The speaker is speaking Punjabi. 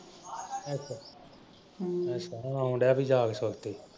ਅੱਛਾ। ਹਮ ਅੱਛਾ ਹੁਣ ਆਉਣ ਡਿਆ ਵੀ ਯਾਦ ਕਰਕੇ।